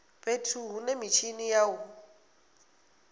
fhethu hune mitshini ya u